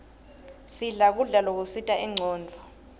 sidle kudla lokusita incondvo